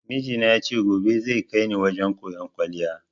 Mijina ya ce gobe zai kaini wajen koyan kwaliya